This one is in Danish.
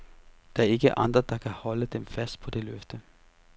Der er ikke andre, der kan holde dem fast på det løfte.